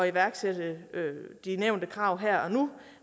iværksætte de nævnte krav her og nu